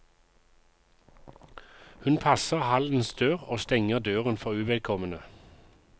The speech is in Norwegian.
Hun passer hallens dør og stenger døren for uvedkommende.